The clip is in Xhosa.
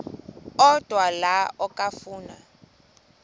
odwa la okafuna